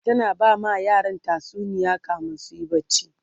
tana bama yaran tatsuniya kamin suyi barci